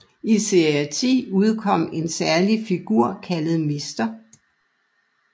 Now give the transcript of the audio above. I serie 10 udkom en særlig figur kaldet Mr